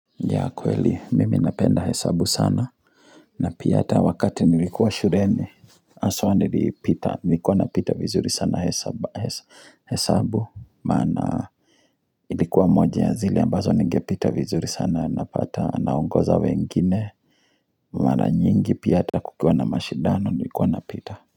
Ya kweli mimi napenda hesabu sana na pia hata wakati nilikuwa shuleni haswa nilipita nilikuwa napita vizuri sana he hesabu maana ilikuwa moja ya zile ambazo ningepita vizuri sana napata naongoza wengine Mara nyingi pia hata kukiwa na mashidano nilikuwa napita.